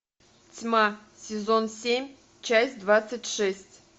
тьма сезон семь часть двадцать шесть